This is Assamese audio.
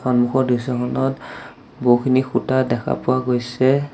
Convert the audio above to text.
সন্মুখৰ দৃশ্যখনত বহুখিনি সূতা দেখা পোৱা গৈছে।